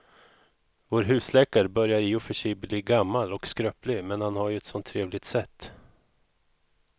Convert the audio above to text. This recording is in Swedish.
Vår husläkare börjar i och för sig bli gammal och skröplig, men han har ju ett sådant trevligt sätt!